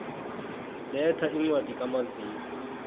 letha incwadi kamazisi